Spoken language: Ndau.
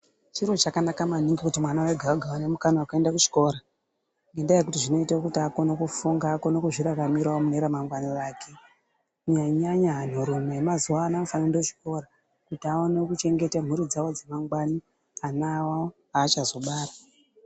Chiro chakanaka maningi kuti mwana wega wega aone mukana wekuende kuchikora ngendaa yekuti zvinoite kuti akone kufunga akone kuzviraramira mune ramangwana ake Kunyanya nyanya mwero yemazuwa ano inofane kuende kuchikora kuti aone kuchengete mhuri dzawo dzemangwani ana awo aachazobara.